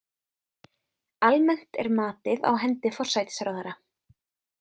Almennt er matið á hendi forsætisráðherra.